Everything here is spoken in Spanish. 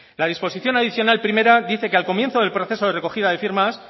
la disposición adicional primera dice que al comienzo del proceso de recogida de firmas